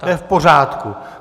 To je v pořádku.